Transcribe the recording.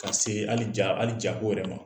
Ka se hali ja ko wɛrɛ ma.